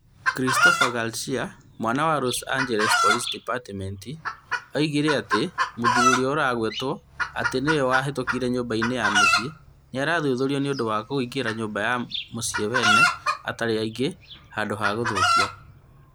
Christopher Garcia, mwaria wa Los Angeles Police Department, oigire atĩ mũthuri ũrĩa ũragwetwo atĩ nĩwe wahĩtũkire nyũmba-inĩ ya mũciĩ, nĩ araathuthuria nĩ ũndũ wa kũingĩra nyũmba-inĩ cia andũ arĩa angĩ handũ ha gũthũkia.